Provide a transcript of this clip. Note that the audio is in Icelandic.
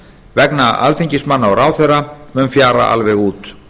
vegna alþingismanna og ráðherra mun fjara alveg út